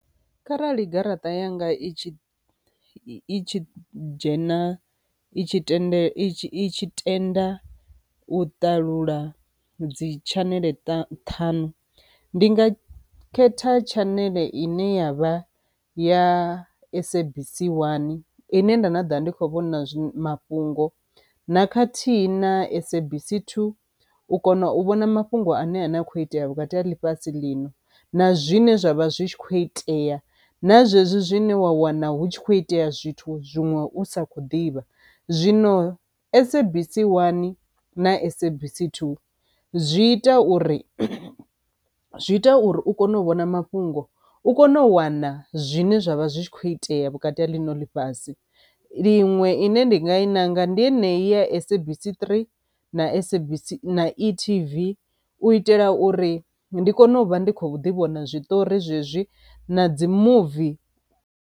Kharali garaṱa yanga i tshi i tshi dzhena i tshi tendele i tshi tenda u ṱalula dzi tshaneḽe ṱhanu ndi nga khetha tshaneḽe ine yavha ya SABC 1 ine nda na ḓa ndi kho vhona mafhungo na khathihi na SABC 2 u kona u vhona mafhungo ane a ne a khou itea vhukati ha ḽifhasi ḽino na zwine zwavha zwi tshi kho itea na zwezwi zwine wa wana hu tshi kho itea zwithu zwiṅwe u sa kho ḓivha. Zwino SABC 1 na SABC 2 zwi ita uri zwi ita uri u kone u vhona mafhungo u kone u wana zwine zwavha zwi tshi kho itea vhukati ha ḽino ḽifhasi. Ḽiṅwe ine ndinga i nanga ndi enei ya SABC 3 na SABC na e-TV u itela uri ndi kone u vha ndi khou ḓi vhona zwiṱori zwezwi na dzi movie.